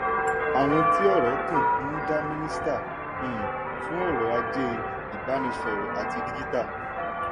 àwọn tí ọ̀rọ̀ kàn ń dá mínísítà um fún ọ̀rọ̀ ajé ìbánisọ̀rọ̀ àti dígítà.